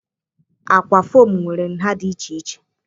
Ákwà fom nwere nha dị iche iche.